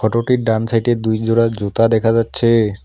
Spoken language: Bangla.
ডান সাইডে দুই জোড়া জুতা দেখা যাচ্ছে।